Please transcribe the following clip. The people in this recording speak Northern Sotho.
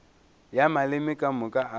ya maleme ka moka a